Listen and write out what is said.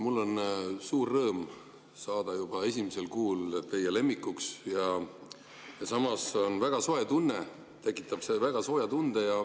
Mul on suur rõõm saada juba esimesel kuul teie lemmikuks ja samas tekitab see väga sooja tunde.